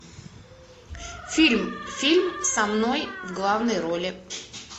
фильм фильм со мной в главной роли